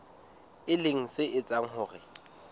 e leng se etsang hore